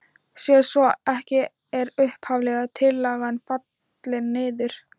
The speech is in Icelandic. Sé svo ekki er upphaflega tillagan fallin niður.